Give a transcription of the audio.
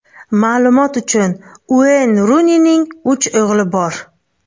Ma’lumot uchun, Ueyn Runining uch o‘g‘li bor.